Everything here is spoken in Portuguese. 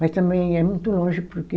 Mas também é muito longe porque